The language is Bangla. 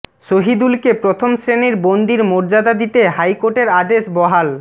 শহিদুলকে প্রথম শ্রেণির বন্দীর মর্যাদা দিতে হাইকোর্টের আদেশ বহাল